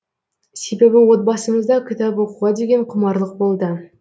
себебі отбасымызда кітап оқуға деген құмарлық болды